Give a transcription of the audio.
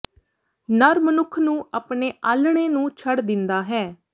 ਨਰ ਮਨੁੱਖ ਨੂੰ ਆਪਣੇ ਆਲ੍ਹਣੇ ਨੂੰ ਛੱਡ ਦਿੰਦਾ ਹੈ